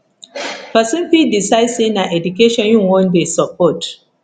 persin fit decide say na education im won de support